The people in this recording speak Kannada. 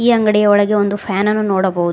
ಈ ಅಂಗಡಿಯೊಳಗೆ ಒಂದು ಫ್ಯಾನ್ ಅನ್ನು ನೋಡಬಹುದು.